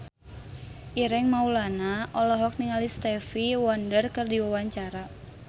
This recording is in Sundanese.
Ireng Maulana olohok ningali Stevie Wonder keur diwawancara